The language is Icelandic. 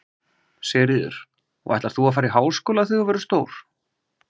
Sigríður: Og ætlar þú að fara í háskóla þegar þú verður stór?